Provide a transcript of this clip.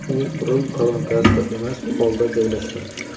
U rul kolonkasida emas, polda joylashgan.